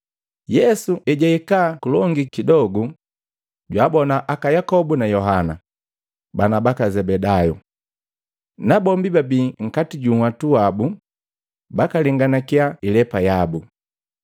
Yesu ejahika kulongi kidogu jwabona aka Yakobu na Yohana, bana baka Zebedayu. Nabombi babii nkati ju nhwatu wabu bakalenganakya ilepa yabu.